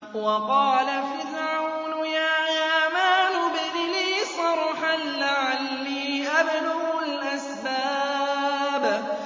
وَقَالَ فِرْعَوْنُ يَا هَامَانُ ابْنِ لِي صَرْحًا لَّعَلِّي أَبْلُغُ الْأَسْبَابَ